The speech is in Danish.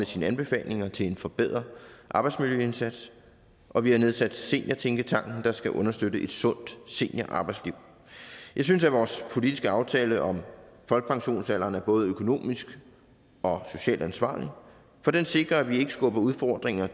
sine anbefalinger til en forbedret arbejdsmiljøindsats og vi har nedsat seniortænketanken der skal understøtte et sundt seniorarbejdsliv jeg synes at vores politiske aftale om folkepensionsalderen er både økonomisk og socialt ansvarlig for den sikrer at vi ikke skubber udfordringer